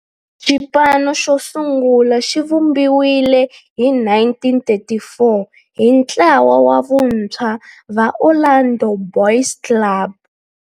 Xipano xosungula xivumbiwile hi 1934 hi ntlawa wa vantshwa va Orlando Boys Club.